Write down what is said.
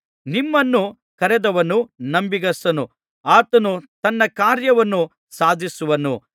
ನಿಮ್ಮನ್ನು ಕರೆದವನು ನಂಬಿಗಸ್ತನು ಆತನು ತನ್ನ ಕಾರ್ಯವನ್ನು ಸಾಧಿಸುವನು